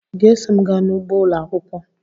ị ga-eso m gaa n'ugbo ụlọ akwụkwọ?